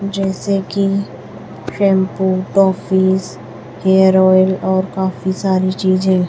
जैसे कि shampoo toffees hair oil और काफी सारी चीजें--